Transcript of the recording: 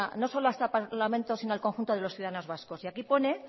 no solo a este parlamento sino al conjunto de los ciudadanos vascos y aquí pone